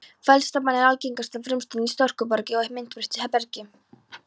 Feldspat er algengasta frumsteind í storkubergi og myndbreyttu bergi.